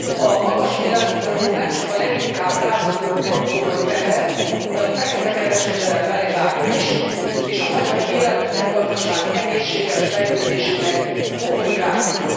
A magas élelmiszeradó nem csak a rászorulóknak komoly teher, de a feketekereskedelem melegágya is, és a magyar élelmiszer gazdaság egészséges fejlődésének komoly gátja.